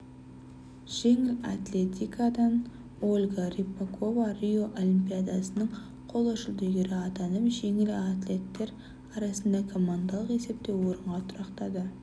жеңіл атлетикадан ольга рыпакова рио олимпиадасының қола жүлдегері атанып жеңіл атлеттер арасында командалық есепте орынға тұрақтады